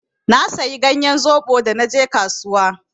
Na sayi ganyen zoɓo da naje kasuwa.